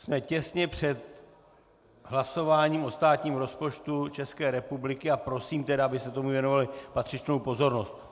Jsme těsně před hlasováním o státním rozpočtu České republiky, a prosím tedy, abyste tomu věnovali patřičnou pozornost.